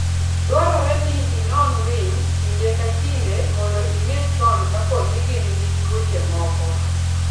Dwarore ni inon winy kinde ka kinde mondo ing'e chon kapo ni gin gi tuoche moko.